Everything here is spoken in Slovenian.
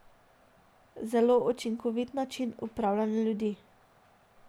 Zelo učinkovit način upravljanja ljudi.